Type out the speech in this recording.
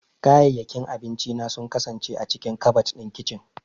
Kayayyakin abinci na sun kasance a cikin kabad ɗin kicin.